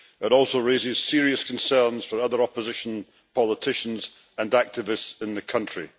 It also raises serious concerns for other opposition politicians and activists in the country.